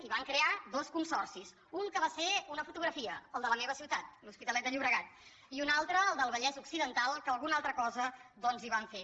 i van crear dos consorcis un que va ser una fotografia el de la meva ciutat l’hospitalet de llo·bregat i un altre el del vallès occidental que alguna altra cosa doncs hi van fer